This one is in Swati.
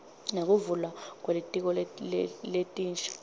nekuvulwa kwetikolo letinsha